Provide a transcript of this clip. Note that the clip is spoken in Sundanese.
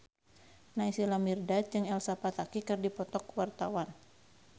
Naysila Mirdad jeung Elsa Pataky keur dipoto ku wartawan